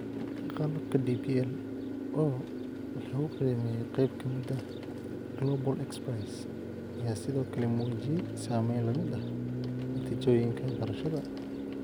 Qalabka DPL, oo ??lagu qiimeeyay qayb ka mid ah Global XPrize, ayaa sidoo kale muujiyay saameyn la mid ah natiijooyinka barashada.